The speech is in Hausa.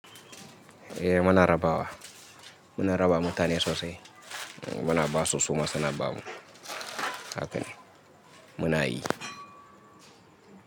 Eh muna rabawa. Muna rabawa mutane sosai. Muna basu suma suna bamu. Haka ne muna yi.